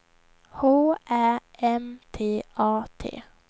H Ä M T A T